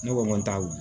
Ne ko n ko